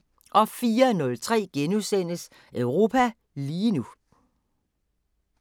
04:03: Europa lige nu *